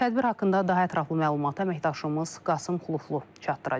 Tədbir haqqında daha ətraflı məlumatı əməkdaşımız Qasım Xuluflu çatdıracaq.